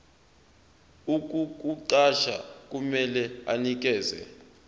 ukukuqasha kumele anikeze